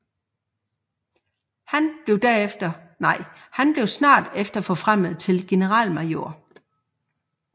Han blev snart efter forfremmet til generalmajor